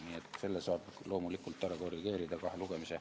Selle saab kahe lugemise vahel loomulikult ära korrigeerida.